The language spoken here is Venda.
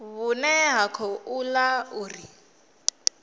vhune ha khou ḓa uri